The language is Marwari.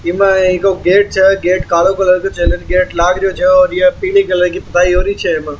एक गेट छे गेट कालो कलर को चॅनेल गेट लागरियो छे और यह पिले कलर की छे ईम।